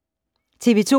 TV 2